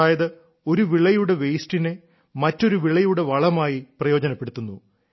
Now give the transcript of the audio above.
അതായത് ഒരു വിളയുടെ വേസ്റ്റിനെ മറ്റൊരു വിളയുടെ വളമായി പ്രയോജനപ്പെടുത്തുന്നു